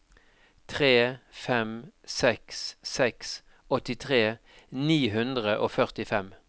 tre fem seks seks åttitre ni hundre og førtifem